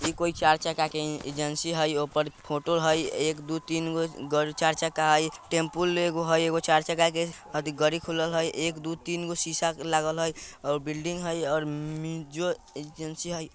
इ कोई चार चक्का के एजेंसी हई ओय पर फोटो हई एक दू तीन ग-ग चार चक्का हई टेम्पुल एगो हई ओय चार चक्का के अथी गड़ी खुलल हई एक दू तीन गो सीसा लागल हई और बिल्डिंग हई और एजेंसी हई।